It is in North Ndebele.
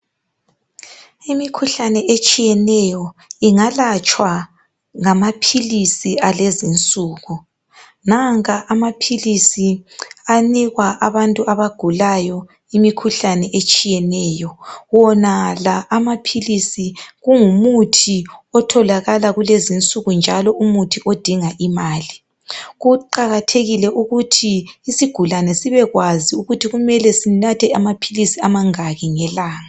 Imikhuhlane etshiyeneyo, ingalatshwa ngamaphilisi alezi insuku. Nanka amaphilisi anikwa abantu abagulayo, imikhuhlane etshiyeneyo.. Wonala amaphilisi, kungumuthi otholakala kulezi insuku, njalo umuthi odinga imali. Kuqakathekile ukuthi usigulane sibekwazi ukuthi kumele sinathe amaphilisi amangaki ngelanga.